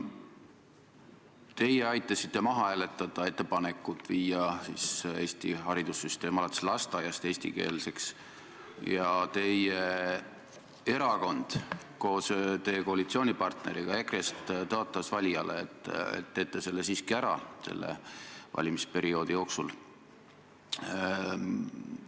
Teie aitasite maha hääletada ettepanekut muuta Eesti haridussüsteem alates lasteaiast eestikeelseks, kuigi teie erakond tõotas koos koalitsioonipartnerist EKRE-ga valijatele, et te teete selle selle valimisperioodi jooksul ära.